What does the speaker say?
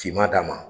Finman d'a ma